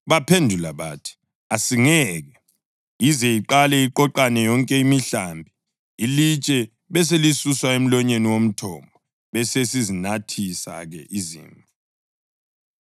Baphendula bathi, “Asingeke, ize iqale iqoqane yonke imihlambi, ilitshe beselisuswa emlonyeni womthombo. Besesizinathisa-ke izimvu.”